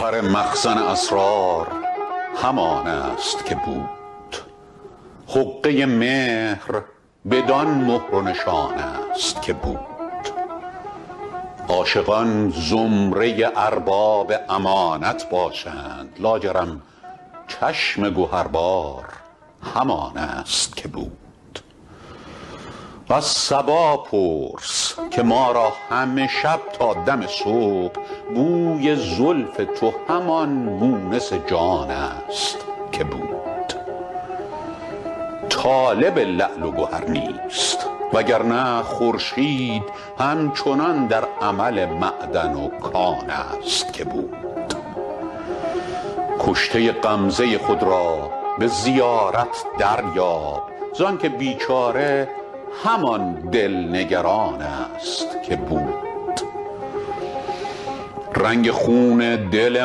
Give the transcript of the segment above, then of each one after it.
گوهر مخزن اسرار همان است که بود حقه مهر بدان مهر و نشان است که بود عاشقان زمره ارباب امانت باشند لاجرم چشم گهربار همان است که بود از صبا پرس که ما را همه شب تا دم صبح بوی زلف تو همان مونس جان است که بود طالب لعل و گهر نیست وگرنه خورشید هم چنان در عمل معدن و کان است که بود کشته غمزه خود را به زیارت دریاب زانکه بیچاره همان دل نگران است که بود رنگ خون دل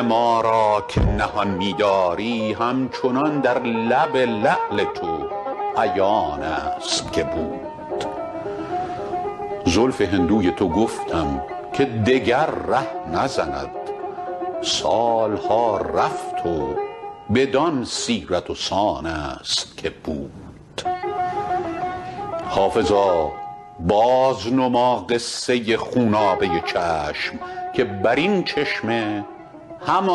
ما را که نهان می داری همچنان در لب لعل تو عیان است که بود زلف هندوی تو گفتم که دگر ره نزند سال ها رفت و بدان سیرت و سان است که بود حافظا بازنما قصه خونابه چشم که بر این چشمه همان آب روان است که بود